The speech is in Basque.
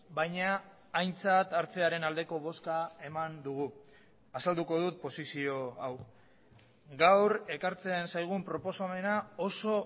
baina aintzat hartzearen aldeko bozka eman dugu azalduko dut posizio hau gaur ekartzen zaigun proposamena oso